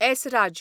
Esraj